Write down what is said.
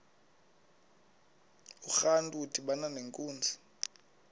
urantu udibana nenkunzi